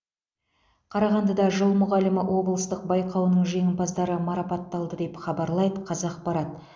қарағандыда жыл мұғалімі облыстық байқауының жеңімпаздары марапатталды деп хабарлайды қазақпарат